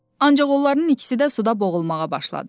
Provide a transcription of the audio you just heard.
Ancaq onların ikisi də suda boğulmağa başladı.